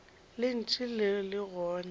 le ntše le le gona